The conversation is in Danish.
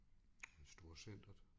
I storcenteret